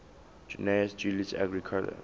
gnaeus julius agricola